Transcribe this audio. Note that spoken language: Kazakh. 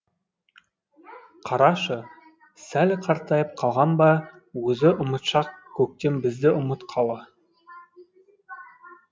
қарашы сәл қартайып қалған ба өзі ұмытшақ көктем бізді ұмытқалы